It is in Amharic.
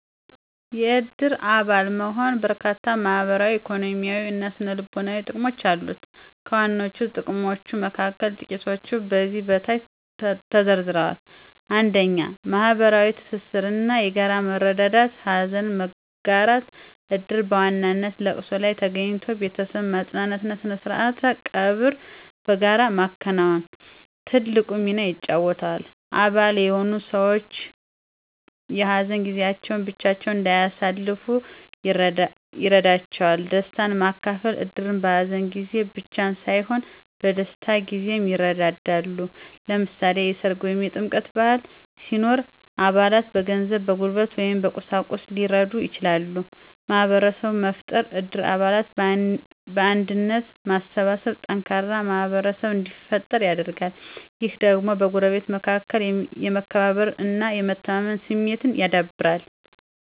የእድር አባል መሆን በርካታ ማህበራዊ፣ ኢኮኖሚያዊ እና ስነ-ልቦናዊ ጥቅሞች አሉት። ከዋነኞቹ ጥቅሞች መካከል ጥቂቶቹ ከዚህ በታች ተዘርዝረዋል፦ 1. ማህበራዊ ትስስር እና የጋራ መረዳዳት * ሀዘን መጋራት: እድር በዋነኛነት ለቅሶ ላይ ተገኝቶ ቤተሰብን ማጽናናት እና ስርዓተ ቀብርን በጋራ ማከናወን ትልቅ ሚና ይጫወታል። አባል የሆኑት ሰዎች የሀዘን ጊዜያቸውን ብቻቸውን እንዳያሳልፉ ይረዳቸዋል። * ደስታን ማካፈል: እድር በሀዘን ጊዜ ብቻ ሳይሆን በደስታ ጊዜም ይረዳዳል። ለምሳሌ፣ የሠርግ ወይም የጥምቀት በዓል ሲኖር አባላት በገንዘብ፣ በጉልበት ወይም በቁሳቁስ ሊረዱ ይችላሉ። * ማህበረሰብ መፍጠር: እድር አባላትን በአንድነት በማሰባሰብ ጠንካራ ማህበረሰብ እንዲፈጠር ያደርጋል። ይህ ደግሞ በጎረቤቶች መካከል የመከባበር እና የመተማመን ስሜትን ያዳብራል